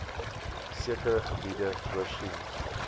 sekere gebiede voorsien